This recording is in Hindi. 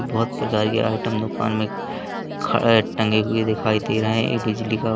बहोत प्रकार के आइटम दुकान में खड़ टंगे हुए दिखाई दे रहें एक बिजली का--